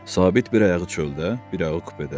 Sabit bir ayağı çöldə, bir ayağı kupedə.